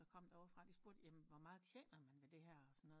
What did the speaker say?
Der kom der ovre fra spurgte jamen hvor meger tjener man ved det her og sådan noget